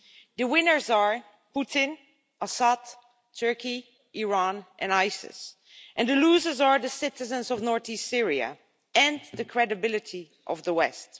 The winners are Putin, Assad, Turkey, Iran and Isis, and the losers are the citizens of north east Syria and the credibility of the West.